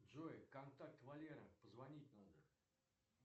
джой контакт валера позвонить надо